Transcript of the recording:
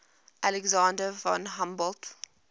alexander von humboldt